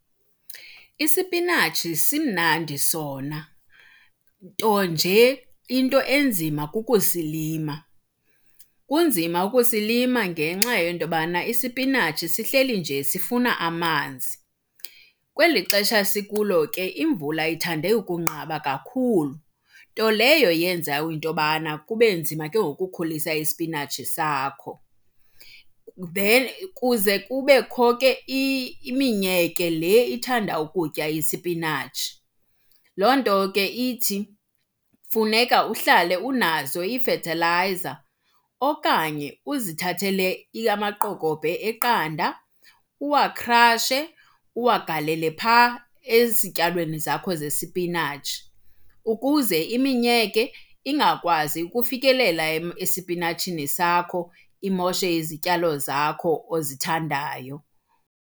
Isipinatshi simnandi sona, nto nje into enzima kukusilima. Kunzima ukusilima ngenxa yento yobana isipinatshi sihleli nje sifuna amanzi. Kweli xesha sikulo ke imvula ithande ukunqaba kakhulu, nto leyo yenza into yobana kube nzima ke ngoku ukukhulisa isipinatshi sakho. Kuze kubekho ke iminyeke le ithanda ukutya isipinatshi. Loo nto ke ithi funeka uhlale unazo iifethelayiza okanye uzithathele amaqokobhe eqanda uwakhrashe, uwagalele phaa ezityalweni zakho zesipinatshi ukuze iminyeke ingakwazi ukufikelela esipinatshini sakho imoshe izityalo zakho ozithandayo.